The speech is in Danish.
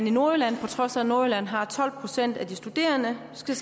i nordjylland på trods af at nordjylland har tolv procent af de studerende skal